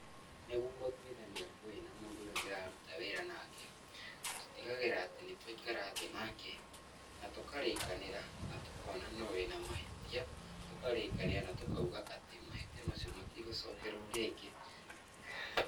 Nῖguo gῦtuithania ngῦῖ na mῦndῦ ῦrῖa ndῖraruta wῖra nake, tutigagῖrῖra atῖ nῖtwaikara thῖ nake na tῦkarῖkanῖra na tῦkona no wῖna mahῖtia, tῦkarῖkania na tῦkauga atῖ mahῖtia macio matῖgῦcokerwo rῖngῖ